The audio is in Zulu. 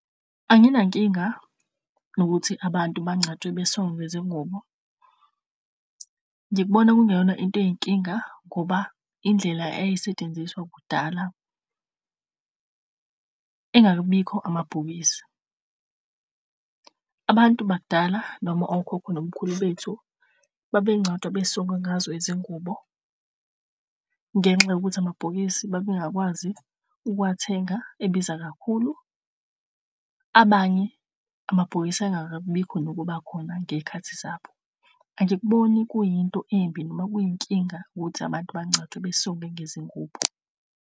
Anginankinga nokuthi abantu bangcatshwe besongwe ngezingubo, ngikubona kungeyona into eyinkinga ngoba indlela eyayisetshenziswa kudala ingakabibikho amabhokisi. Abantu bakudala, noma okhokho nomkhulu bethu, babe ngcwatshwa besongwe ngazo izingubo ngenxa yokuthi amabhokisi babengakwazi ukuwathenga ebiza kakhulu. Abanye amabhokisi ayengakabibikho nokubakhona ngezikhathi zabo. Angikuboni kuyinto embi noma kuyinkinga ukuthi abantu bangcwatshe basongwe ngezingubo,